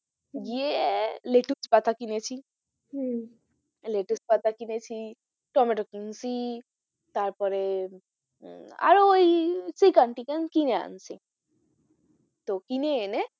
হম গিয়ে লেটুস পাতা কিনেছি হম লেটুস পাতা কিনেছি, টম্যাটো কিনেছি, তারপরে আহ আরো ওই chicken টিকেন কিনে এনেছি তো কিনে এনে,